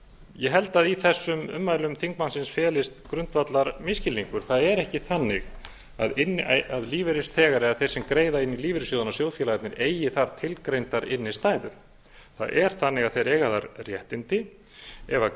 ég held að í þessum ummælum þingmannsins felist grundvallarmisskilningur það er ekki þannig að lífeyrisþegar eða þeir sem greiða inn í lífeyrissjóðina sjóðfélagarnir eigi þar tilgreindar innstæður það er þannig að þeir eiga þar réttindi ef